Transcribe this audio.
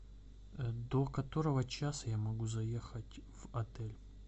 до которого часа я могу заехать в отель